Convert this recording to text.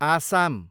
Assam